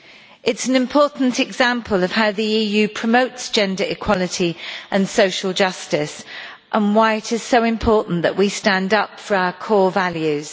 It is an important example of how the EU promotes gender equality and social justice and why it is so important that we stand up for our core values.